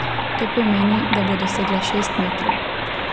To pomeni, da bo dosegla šest metrov.